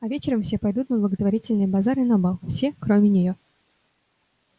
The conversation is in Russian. а вечером все пойдут на благотворительный базар и на бал все кроме неё